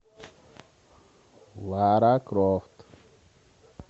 лара крофт